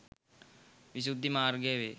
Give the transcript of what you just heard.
විසුද්ධි මාර්ගය වේ.